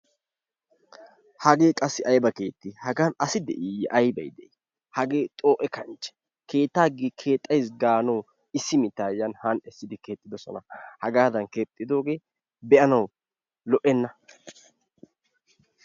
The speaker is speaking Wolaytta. Hage qassi ayba kette hagan assi de'iyee aybay di hage xo'e kanche aybe kettaa kexaysi ganawu issi mita yani hani essidi kexxidosona, hegadan kexxidoge be'anawu lo'enna.